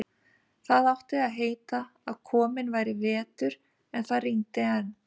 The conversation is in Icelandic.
Það átti að heita að kominn væri vetur, en það rigndi enn.